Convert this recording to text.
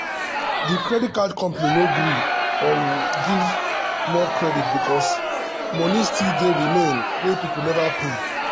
the credit card company no gree um give more credit because money still dey remain wey people never pay.